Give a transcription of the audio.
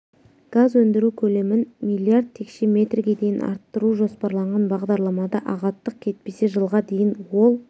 газ өндіру көлемін миллиард текше метрге дейін арттыру жоспарланған бағдарламада ағаттық кетпесе жылға дейін ол